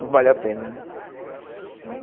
Não vale a pena, né?